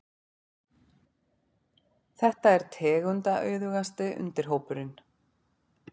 Þetta er tegundaauðugasti undirhópurinn.